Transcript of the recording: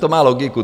To má logiku.